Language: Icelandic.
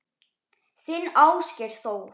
Þinn Ásgeir Þór.